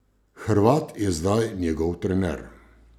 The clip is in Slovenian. Hrvat je zdaj njegov trener.